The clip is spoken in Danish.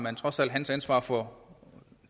er trods alt hans ansvar at for